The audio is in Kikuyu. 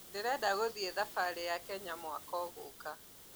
Ndĩrenda gũthiĩ thabarĩ ya Kenya mwaka ũgũka